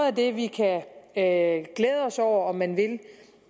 af det vi kan glæde os over om man vil